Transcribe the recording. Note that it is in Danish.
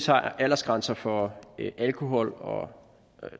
har aldersgrænser for alkohol og